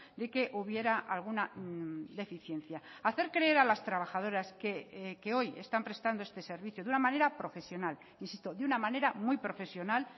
de que hubiera alguna deficiencia hacer creer a las trabajadoras que hoy están prestando este servicio de una manera profesional insisto de una manera muy profesional